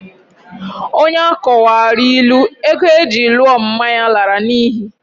Onye akọwaara ilu, ego eji lụọ mma ya lara n'ihi.